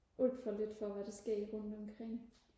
alt for lidt for hvad der sker rundt omkring